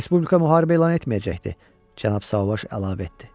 Respublika müharibə elan etməyəcəkdi, Cənab Sauvage əlavə etdi.